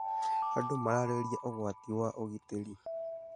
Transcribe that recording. Andũ mararĩrĩria ũgwati wa ũgitĩri.